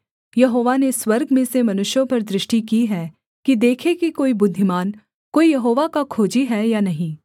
यहोवा ने स्वर्ग में से मनुष्यों पर दृष्टि की है कि देखे कि कोई बुद्धिमान कोई यहोवा का खोजी है या नहीं